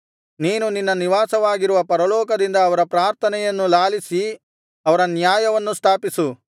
ನೀನು ನಿನ್ನ ನಿವಾಸವಾಗಿರುವ ಪರಲೋಕದಿಂದ ಅವರ ಪ್ರಾರ್ಥನೆಯನ್ನು ಲಾಲಿಸಿ ಅವರ ನ್ಯಾಯವನ್ನು ಸ್ಥಾಪಿಸು